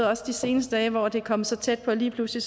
også de seneste dage hvor det er kommet så tæt på lige pludselig